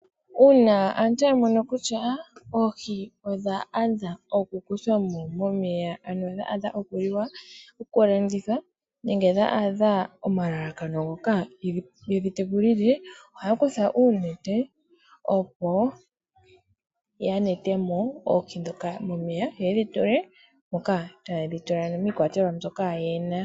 Uuna aantu yamono kutya oohi odha adha okukuthwamo momeya ano dha adha okuliwa ,oku landithwa nenge dha adha omalalakano ngoka tayedhi tekulile ohaya kutha oonete opo yanetemo oohi ndhoka momeya yo yedhi tule moka hayedhi tula ano miikwatelwa mbyoka yena.